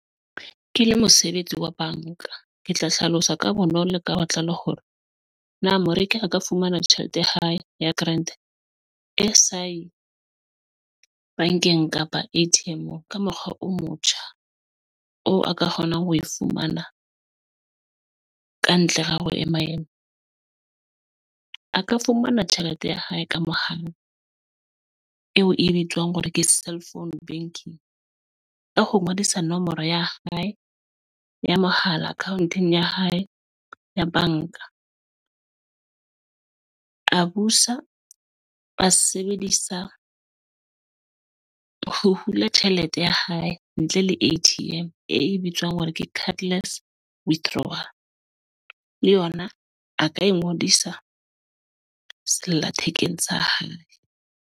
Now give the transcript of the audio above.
Ke le mosebetsi wa banka, ke tla hlalosa ka bonolo ka botlalo hore na moreki a ka fumana tjhelete ya hae ya grant e sa ye bankeng kapa A_T_M-ong ka mokgwa o motjha oo a ka kgonang ho e fumana kantle le ho ema ema. A ka fumana tjhelete ya hae ka mohala eo e bitswang hore ke cell phone banking ka ho ngodisa nomoro ya hae ya mohala account-ong ya hae ya banka a busa a sebedisa ho hula tjhelete late ya hae ka ntle le A_T_M e bitswang hore ke cardless withdrawal le yona a ka ingodisa sella thekeng sa hae.